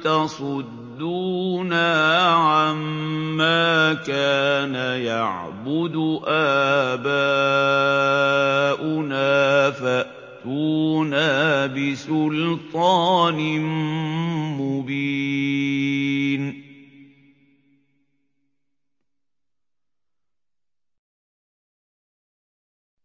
تَصُدُّونَا عَمَّا كَانَ يَعْبُدُ آبَاؤُنَا فَأْتُونَا بِسُلْطَانٍ مُّبِينٍ